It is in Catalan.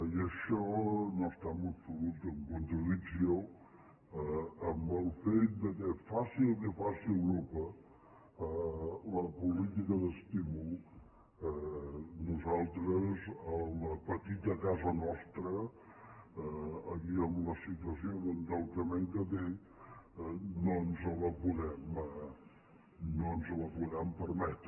i això no està en absolut en contradicció amb el fet que faci el que faci europa la política d’estímul nosaltres a la petita casa nostra i en la situació d’endeutament que té no ens la podem permetre